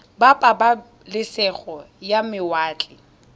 ba pabalesego ya mawatle ba